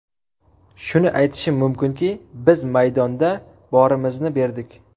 Shuni aytishim mumkinki, biz maydonda borimizni berdik.